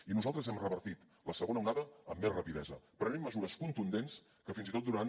i nosaltres hem revertit la segona onada amb més rapidesa prenent mesures contundents que fins i tot durant